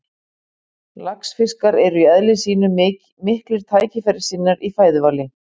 Laxfiskar eru í eðli sínu miklir tækifærissinnar í fæðuvali.